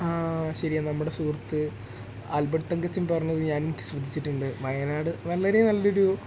ആ ശരിയ നമ്മുടെ സുഹൃത്ത് ആൽബർട്ട് തങ്കച്ചൻ പറഞ്ഞത് ഞാൻ ശ്രദ്ധിച്ചിട്ടുണ്ട് വയനാട് വളരെ നല്ലൊരു